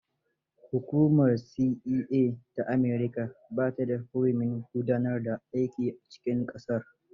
Hukumar CIA ta America ba ta da hurumin gudanar da aiki a cikin ƙasar.